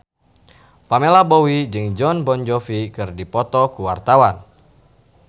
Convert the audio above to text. Pamela Bowie jeung Jon Bon Jovi keur dipoto ku wartawan